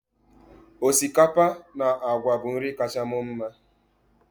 osikapa na agwa bụ nri kacha mma m